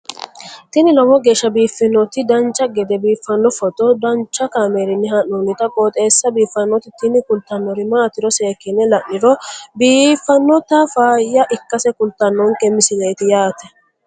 tini lowo geeshsha biiffannoti dancha gede biiffanno footo danchu kaameerinni haa'noonniti qooxeessa biiffannoti tini kultannori maatiro seekkine la'niro biiffannota faayya ikkase kultannoke misileeti yaate